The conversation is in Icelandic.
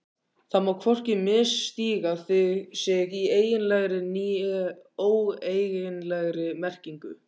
Það má hvorki misstíga sig í eiginlegri né óeiginlegri merkingu.